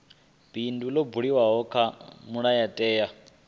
bindu ḽo buliwaho kha mulayotewa